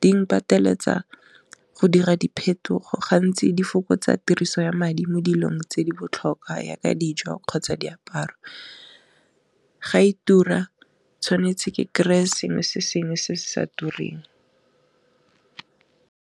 ding pateletsa go dira diphetogo ga ntsi di fo kgotsa tiriso ya madi mo dilong tse di botlhokwa yaka dijo kgotsa diaparo, ga e tura tshwanetse ke kry-e sengwe se sengwe se se sa tureng.